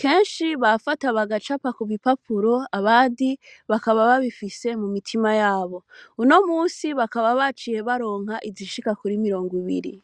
kenshi bafata bagacapa kubipapuro abandi bakaba babifise mumitima yabo uno musi bakaba baronse izishika kuri mirongo ibiri